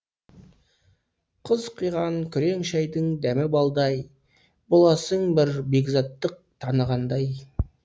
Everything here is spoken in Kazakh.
қыз құйған күрең шайдың дәмі балдай боласың бір бекзаттық танығандай